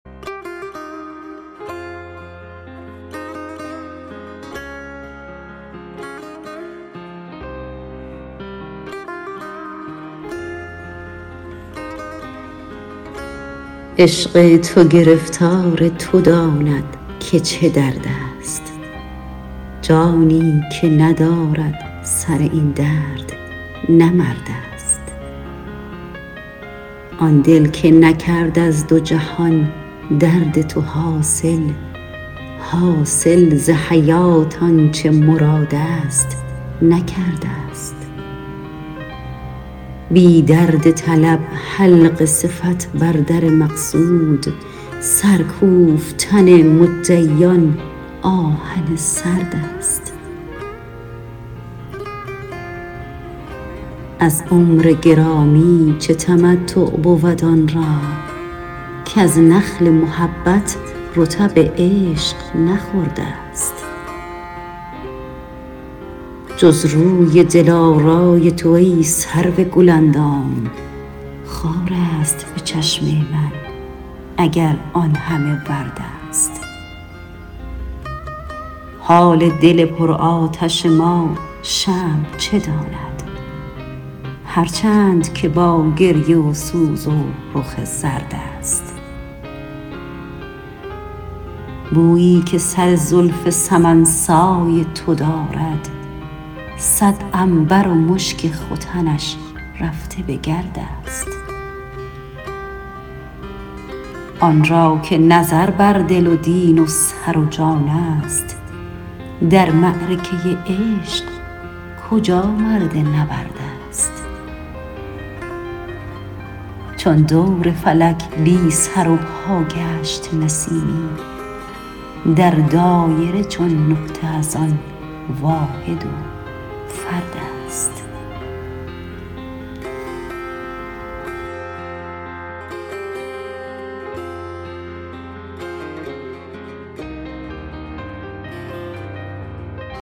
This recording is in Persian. عشق تو گرفتار تو داند که چه درد است جانی که ندارد سر این درد نه مرد است آن دل که نکرد از دو جهان درد تو حاصل حاصل ز حیات آنچه مراد است نکرده است بی درد طلب حلقه صفت بر در مقصود سر کوفتن مدعیان آهن سرد است از عمر گرامی چه تمتع بود آن را کز نخل محبت رطب عشق نخورده است جز روی دلارای تو ای سرو گل اندام خار است به چشم من اگر آن همه ورد است حال دل پرآتش ما شمع چه داند هرچند که با گریه و سوز و رخ زرد است بویی که سر زلف سمن سای تو دارد صد عنبر و مشک ختنش رفته به گرد است آن را که نظر بر دل و دین و سر و جان است در معرکه عشق کجا مرد نبرد است چون دور فلک بی سر و پا گشت نسیمی در دایره چون نقطه از آن واحد و فرد است